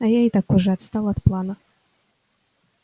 а я и так уже отстал от плана